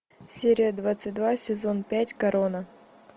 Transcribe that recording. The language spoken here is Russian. серия двадцать два сезон пять корона